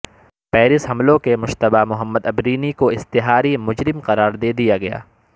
Paris حملوں کے مشتبہ محمدعبرینی کو اشتہاری مجرم قرار دے دیا گیا